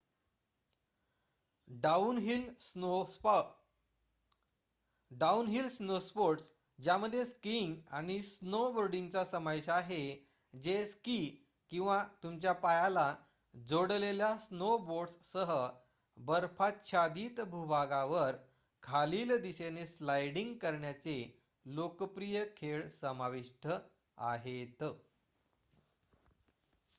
downhill snowsports ज्यामध्ये skiing आणि स्नोबोर्डिंगचा समावेश आहे जे स्की किंवा तुमच्या पायाला जोडलेल्या स्नोबोर्डसह बर्फाच्छादित भूभागावर खालील दिशेने स्लाइडिंग करण्याचे लोकप्रिय खेळ समाविष्ट आहेत